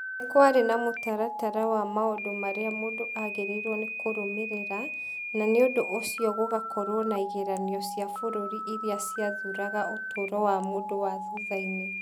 Nĩ kwarĩ na mũtaratara wa maũndũ marĩa mũndũ aagĩrĩirũo nĩ kũrũmĩrĩra, na nĩ ũndũ ũcio gũgakorũo na igeranio cia bũrũri iria ciathũraga ũtũũro wa mũndũ wa thutha-inĩ.